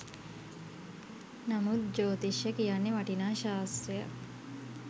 නමුත් ජෝතිෂ්‍ය කියන්නේ වටිනා ශාස්ත්‍රයක්.